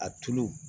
A tulu